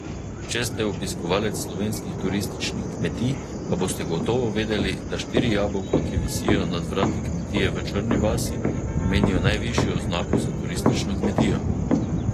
Če ste obiskovalec slovenskih turističnih kmetij, pa boste gotovo vedeli, da štiri jabolka, ki visijo nad vrati kmetije v Črni vasi, pomenijo najvišjo oznako za turistično kmetijo...